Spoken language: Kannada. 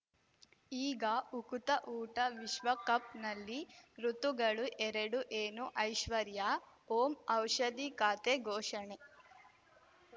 ಈಗ ಉಕುತ ಊಟ ವಿಶ್ವಕಪ್‌ನಲ್ಲಿ ಋತುಗಳು ಎರಡು ಏನು ಐಶ್ವರ್ಯಾ ಓಂ ಔಷಧಿ ಖಾತೆ ಘೋಷಣೆ